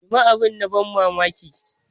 Ni ma abin na ban mamaki.